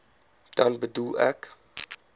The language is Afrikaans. dan bedoel ek